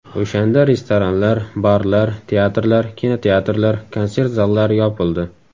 O‘shanda restoranlar, barlar, teatrlar, kinoteatrlar, konsert zallari yopildi.